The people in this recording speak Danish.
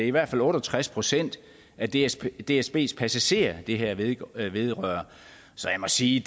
i hvert fald otte og tres procent af dsbs dsbs passagerer det her vedrører vedrører så jeg må sige